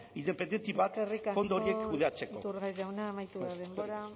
independente bat fondo horiek kudeatzeko eskerrik asko iturgaiz jauna amaitu da denbora